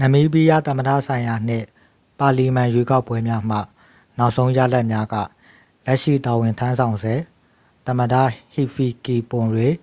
နမီးဘီးယား သမ္မတဆိုင်ရာနှင့် ပါလီမန် ရွေးကောက်ပွဲများမှ နောက်ဆုံးရလဒ်များက လက်ရှိ တာဝန်ထမ်းဆောင်ဆဲ သမ္မတ ဟီဖီကီပွန်ရေး